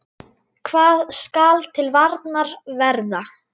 Hvað skal til varnar verða?